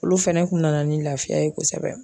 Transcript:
Olu fɛnɛ kun nana ni laafiya ye kosɛbɛ.